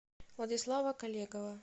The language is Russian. владислава колегова